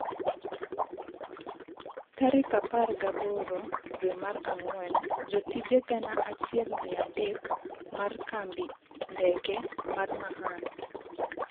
Tarik apar gi aboro dwe mar ang'wen, jotije gana achiel mia adek mar kambi ndeke mar Mahan